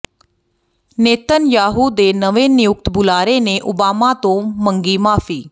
Netanyahu ਦੇ ਨਵੇਂ ਨਿਯੁਕਤ ਬੁਲਾਰੇ ਨੇ ਓਬਾਮਾ ਤੋਂ ਮੰਗੀ ਮਾਫੀ